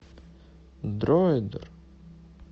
дроидер